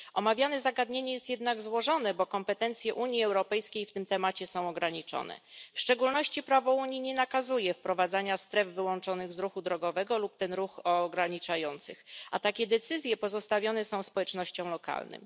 Omawiane zagadnienie jest jednak złożone, bo kompetencje Unii Europejskiej w tym temacie są ograniczone. W szczególności prawo Unii nie nakazuje wprowadzania stref wyłączonych z ruchu drogowego lub ograniczających ten ruch, a takie decyzje pozostawione są społecznościom lokalnym.